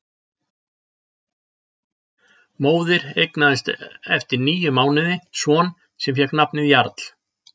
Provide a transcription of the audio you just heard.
Móðir eignaðist eftir níu mánuði son sem fékk nafnið Jarl.